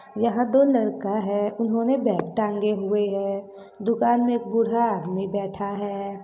यहाँ दो लड़का है उन्होंने बैग टांगे हुए हैं दुकान में एक बूढ़ा आदमी बैठा है।